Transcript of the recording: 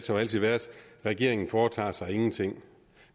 jo altid været regeringen foretager sig ingenting